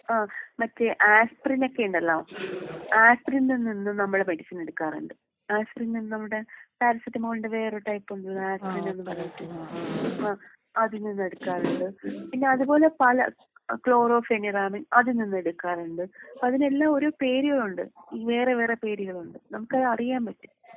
ആഹ് മറ്റേ ആസ്പ്രിനൊക്കെയുണ്ടല്ലോ. ആസ്പ്രിനിൽ നിന്നും നമ്മള് മെഡിസിൻ എടുക്കാറുണ്ട്.ആസ്പ്രിം നമ്മളുടെ പാരസെറ്റമോൾന്റെ വേറൊരു ടൈപ്പ് ഉണ്ടല്ലോ ആസ്പ്രിൻ എന്ന് പറഞിട്ട്. ആഹ് അതിൽ നിന്ന് എടുക്കാറുണ്ട്. പിന്നെ അത് പോലെ പല ക്ലോറോഫെമിറാമിന്‍ അതിൽ നിന്നും എടുക്കാറുണ്ട്. അതിനെല്ലാം ഒരോ പേരുകളുണ്ട് വേറെ വേറെ പേരുകളുണ്ട്. നമുക്കത് അറിയാൻ പറ്റും.